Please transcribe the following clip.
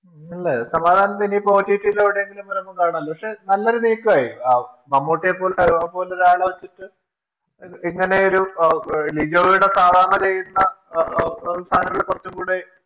ഇല്ലേ സമാധാനത്തോടെ ഇനി കാണാലോ പക്ഷെ അത് നല്ലൊരു നീക്കമായിരുന്നു മമ്മൂട്ടിയെ പോലെ അത്രയും വലിയ ഒരാളെ വെച്ചിട്ട് ഇങ്ങനെയൊരു ലിജോയുടെ സാധാരണ ചെയ്യുന്ന സാധനങ്ങളിൽ കുറച്ചുകൂടെ